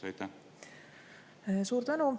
Suur tänu!